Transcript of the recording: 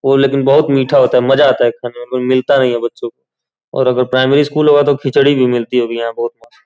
वो लेकिन बहुत मीठा होता है। मजा आता है खाने में। मिलता नहीं है बच्चों को और अगर प्राइमरी स्कूल होगा तो खिचड़ी भी मिलती होगी यहां बहुत मस --